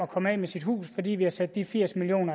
komme af med sit hus fordi vi har sat de firs million